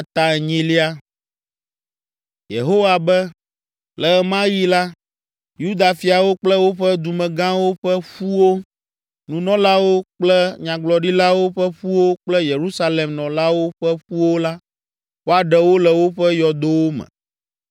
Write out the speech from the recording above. “Yehowa be, ‘Le ɣe ma ɣi la, Yuda fiawo kple woƒe dumegãwo ƒe ƒuwo, nunɔlawo kple nyagblɔɖilawo ƒe ƒuwo kple Yerusalem nɔlawo ƒe ƒuwo la, woaɖe wo le woƒe yɔdowo me.